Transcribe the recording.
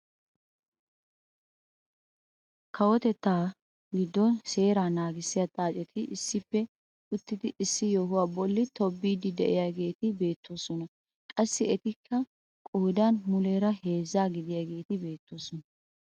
Kawotettaa giddon seeraa nagissiyaa xaaceti issippe uttidi issi yohuwaa bolli tobbiiddi de'iyaageti beettoosona. qassi etikka qoodan muleera heezzaa gidiyaageti beettoosona.